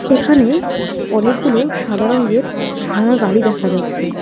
এখানে অনেকগুলো সাদা রংগের ভাঙা গাড়ি দেখা যাচ্ছে।